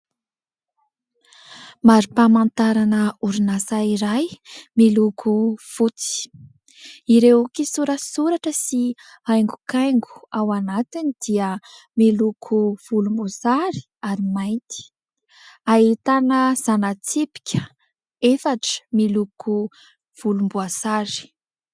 Mari-pamantarana orinasa iray miloko fotsy, ireo kisorasoratra sy haingokaingo ao anatiny dia miloko volomboasary ary mainty, ahitana zana-tsipika efatra miloko volomboasary.